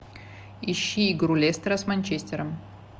ищи игру лестера с манчестером